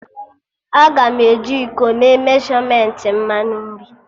Aga m eji iko mee meshọmentị mmanụ nri